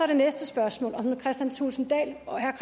det næste spørgsmål og